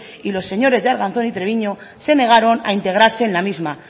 y los señores de arganzón y treviño se negaron a integrarse en la misma